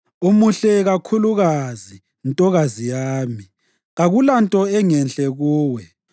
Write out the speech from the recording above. Umuhle kakhulukazi, ntokazi yami; kakulanto engenhle kuwe.